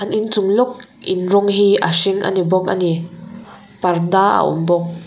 inchung lawk in rawng hi a hring ani bawk ani parda a awm bawk.